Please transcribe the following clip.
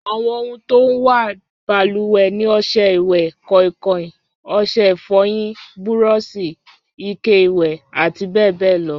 Àwọn ohun tó máa ń wà balùwẹ̀ ni ọṣẹ ìwẹ̀, kọ̀ìnkọ̀ìn, ọṣẹ ìfọyín, búrọ́ọ̀ṣì, ike ìwẹ̀, àti bẹ́ẹ̀ bẹẹ lọ